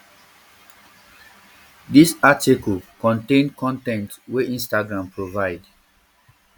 dis article contain um con ten t wey instagram provide